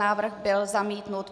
Návrh byl zamítnut.